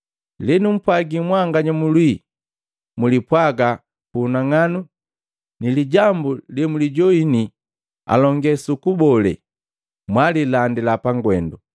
Lenumpwagi mwanganya mulwii, mlipwaaga pu unang'anu ni lijambu lemwilijoini alonge suku bolane, mwililandila pangwendu.